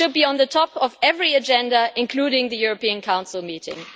It should be on the top of every agenda, including the European Council meeting.